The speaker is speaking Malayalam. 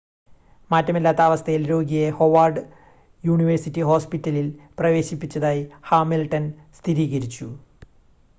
മാറ്റമില്ലാത്ത അവസ്ഥയിൽ രോഗിയെ ഹൊവാർഡ് യൂണിവേഴ്സിറ്റി ഹോസ്‌പിറ്റലിൽ പ്രവേശിപ്പിച്ചതായി ഹാമിൽട്ടൺ സ്ഥിരീകരിച്ചു